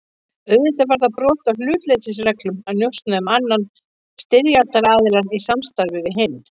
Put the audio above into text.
Auðvitað var það brot á hlutleysisreglum að njósna um annan styrjaldaraðiljann í samstarfi við hinn.